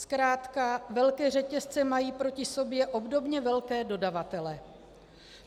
Zkrátka velké řetězce mají proti sobě obdobně velké dodavatele.